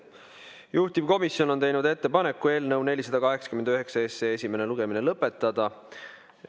Juhtivkomisjon on teinud ettepaneku eelnõu 489 esimene lugemine lõpetada.